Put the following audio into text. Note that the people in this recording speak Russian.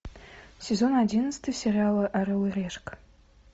сезон одиннадцатый сериала орел и решка